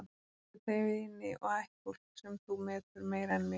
Þú átt auðvitað vini og ættfólk, sem þú metur meira en mig.